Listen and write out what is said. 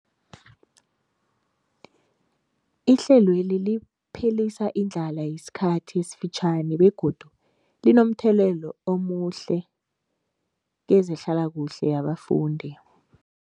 Ihlelweli liphelisa indlala yesikhathi esifitjhani begodu linomthelela omuhle kezehlalakuhle yabafundi.